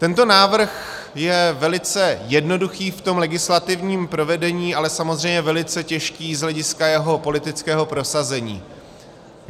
Tento návrh je velice jednoduchý v tom legislativním provedení, ale samozřejmě velice těžký z hlediska jeho politického prosazení.